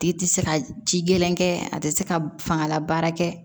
Tigi tɛ se ka ji gɛlɛn kɛ a tɛ se ka fangalabaara kɛ